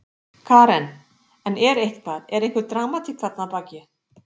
Karen: En er eitthvað, er einhver dramatík þarna að baki?